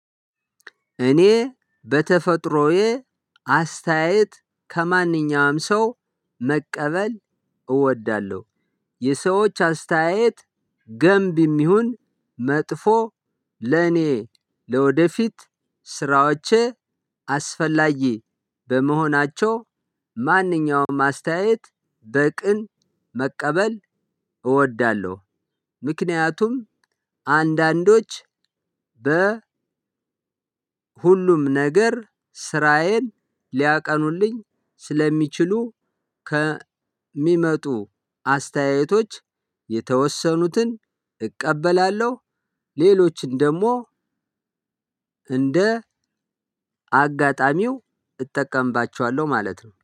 እኔ በተፈጥሮዬ አስተያየት ከማንኛውም ሰው መቀበል እወዳለሁ። የሰዎች አስተያየት ገንቢም ይሁን መጥፎ ለእኔ ለወደፊት ስራዎቼ አስፈላጊ በመሆናቸው ማንኛውም አስተያየት በቅን መቀበል እወዳለሁ። ምክንያቱም አንዳንዶች በሁሉም ነገር ስራዬን ሊያቀኑልኝ ስለሚችሉ ከሚመጡ አስተያየቶች የተወሰኑትን እቀበላለሁ። ሌሎችን ደግሞ እንደ አጋጣሚው እጠቀምባቸዋለሁ ማለት ነው